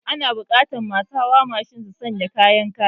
Ana buƙatar masu hawa babur su sanya kayan kariya